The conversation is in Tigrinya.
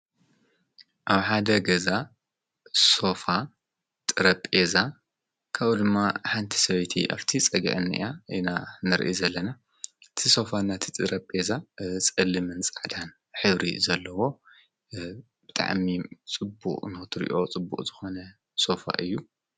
ኣብ ሓደ ገዛ ሶፋ ጠረጴዛ ከምኡ ድማ ሓንቲ ሰበይቲ ኣፍቲ ጸጋአኒእያ ኢና ነርኢ ዘለና እቲሶፋ እና እቲ ጠረ ጴዛ ጽሊምን ጻዳን ኅብሪ ዘለዎ ብጥዕሚ ጽቡቅ ንኽትሪኦ ጽቡቕ ዝኾነ ሶፋ እዩ።